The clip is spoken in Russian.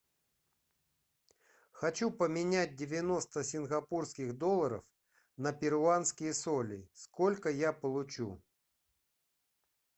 хочу поменять девяносто сингапурских долларов на перуанские соли сколько я получу